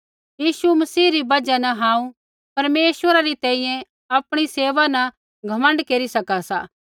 यीशु मसीह री बजहा न हांऊँ परमेश्वरा री तैंईंयैं आपणी सेवा न घमण्ड केरी सका सा